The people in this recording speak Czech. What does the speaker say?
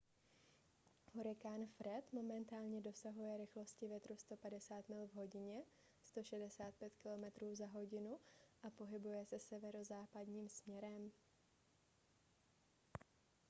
hurikán fred momentálně dosahuje rychlosti větru 150 mil v hodině 165 km/h a pohybuje se severozápadním směrem